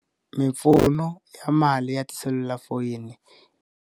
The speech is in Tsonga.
Mimpfuno ya mali ya tiselulafoyini.